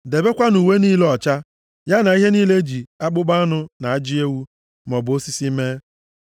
Debekwanụ uwe niile ọcha, ya na ihe niile e ji akpụkpọ anụ na ajị ewu, maọbụ osisi, mee.”